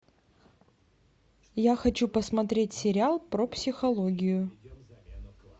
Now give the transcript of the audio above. я хочу посмотреть сериал про психологию